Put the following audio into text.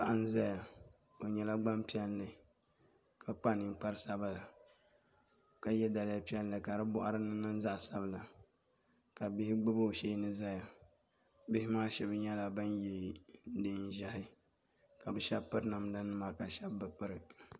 Paɣa n ʒɛya o nyɛla Gbanpiɛlli ka kpa ninkpari sabinli ka yɛ daliya piɛlli ka di boɣari ni niŋ zaɣ sabila ka bihi gbubi o sheeni ʒɛya bihi maa shab nyɛla bin yɛ neen ʒiɛhi ka bi shab piri namda nima ka bi shab bi piri